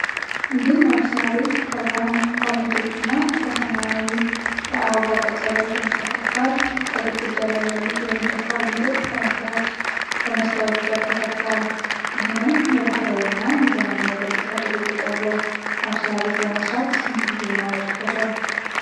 ምግብ ማብሰያ ቤት ከብርሃን ካቢኔቶች እና ከሰማያዊ የአበባ ቅርጽ ያላቸው ንጣፎች ጋር፣ ከግድግዳ ላይ ያሉት የእንጨት ካቢኔቶች በመስታወት በር ተሰርተዋል። ይህንን የባህላዊ እና የዘመናዊ ገጽታ ድብልቅ ያለው ማብሰያ ቤት ለመስራት ስንት ጊዜና ወጪ ይፈጃል?